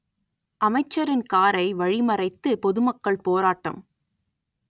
அமைச்சரின் காரை வழி மறைத்து பொதுமக்கள் போராட்டம்